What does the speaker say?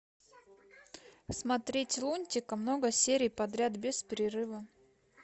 смотреть лунтика много серий подряд без перерыва